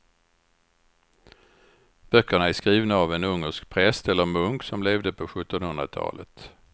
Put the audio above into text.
Böckerna är skrivna av en ungersk präst eller munk som levde på sjuttonhundratalet.